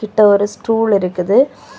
கிட்ட ஒரு ஸ்டூல் இருக்குது.